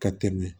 Ka tɛmɛ